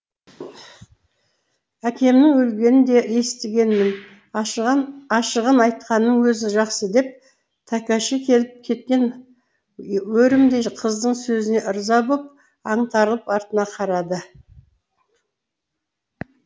әкемнің өлгенін де естігенмін ашығын айтқанның өзі жақсы деп тәкеши келіп кеткен өрімдей қыздың сөзіне ырза боп аңтарылып артында қалды